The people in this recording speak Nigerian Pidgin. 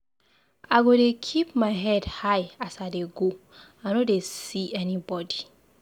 I go dey keep my head high as I dey go, I no dey see anybodi.